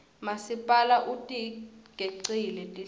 masipala utigecile tihlahla